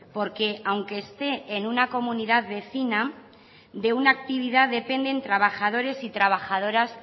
porque aunque esté en una comunidad vecina de una actividad depende trabajadores y trabajadoras